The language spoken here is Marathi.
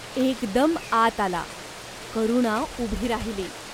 एकदम आत आला. करुणा उभी राहिली.